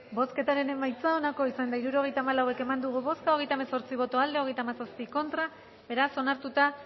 bozketaren emaitza onako izan da hirurogeita hamabost eman dugu bozka hogeita hemezortzi boto aldekoa treinta y siete contra beraz onartuta